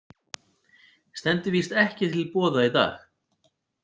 Stendur víst ekki til boða í dag.